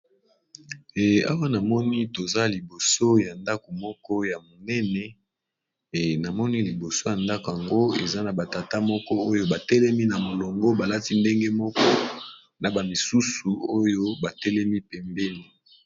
Eh awa namoni toza liboso ya ndako moko ya monene, namoni liboso ya ndako yango eza na ba tata moko oyo ba telemi na molongo balati ndenge moko na ba misusu oyo batelemi pembeni.